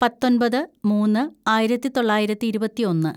പത്തൊമ്പത് മൂന്ന് ആയിരത്തിതൊള്ളായിരത്തി ഇരുപത്തിയൊന്ന്‌